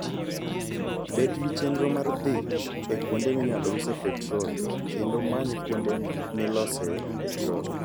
Bed gi chenro mar dhi e kuonde minyalo usoe petrol kendo many kuonde milosoe petrol.